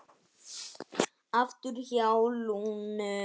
Aftur hjá Lúnu